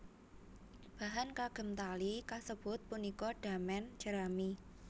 Bahan kagem tali kasebut punika damen jerami